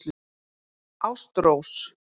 Ástrós